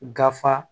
Gafe